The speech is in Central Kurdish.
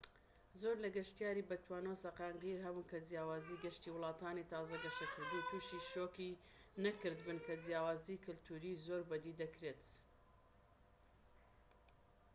زۆر لە گەشتیاری بەتوانا و سەقامگیر هەبوون کە جیاوازیی گەشتی وڵاتانی تازە گەشەکردوو تووشی شۆکی نەکردبن کە جیاوازیی کەلتوریی زۆر بە دی دەکرێت